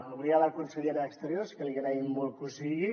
avui a la consellera d’exteriors que li agraïm molt que ho sigui